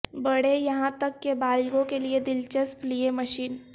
بڑھے یہاں تک کہ بالغوں کے لیے دلچسپ لیے مشین